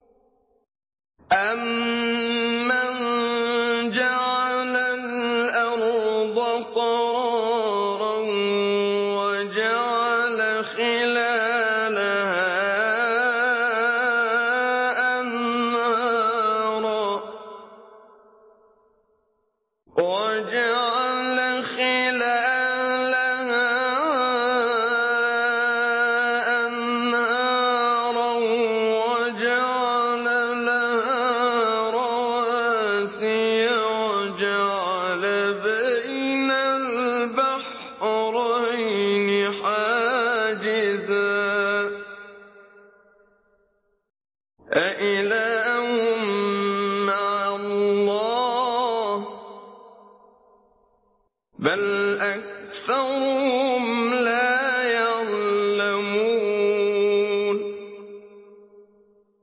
أَمَّن جَعَلَ الْأَرْضَ قَرَارًا وَجَعَلَ خِلَالَهَا أَنْهَارًا وَجَعَلَ لَهَا رَوَاسِيَ وَجَعَلَ بَيْنَ الْبَحْرَيْنِ حَاجِزًا ۗ أَإِلَٰهٌ مَّعَ اللَّهِ ۚ بَلْ أَكْثَرُهُمْ لَا يَعْلَمُونَ